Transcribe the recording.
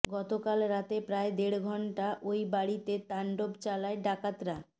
গতকাল রাতে প্রায় দেড় ঘণ্টা ওই বাড়িতে তাণ্ডব চালায় ডাকাতরা